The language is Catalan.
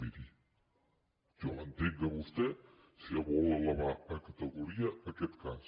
miri jo l’entenc a vostè si vol elevar a categoria aquest cas